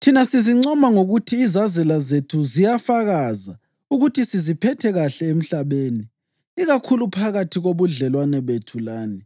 Thina sizincoma ngokuthi izazela zethu ziyafakaza ukuthi siziphathe kuhle emhlabeni, ikakhulu phakathi kobudlelwano bethu lani,